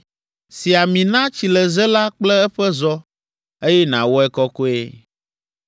Si ami na tsileze la kple eƒe zɔ, eye nàwɔe kɔkɔe.